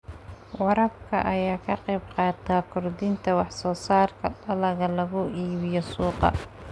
Waraabka ayaa ka qayb qaata kordhinta wax soo saarka dalagga lagu iibiyo suuqa.